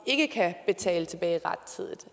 ikke kan betale tilbage rettidigt